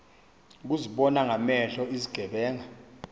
bazibona ngamehlo izigebenga